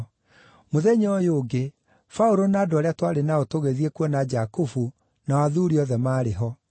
Mũthenya ũyũ ũngĩ Paũlũ, na andũ arĩa twarĩ nao tũgĩthiĩ kuona Jakubu, nao athuuri othe maarĩ ho.